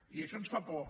i això ens fa por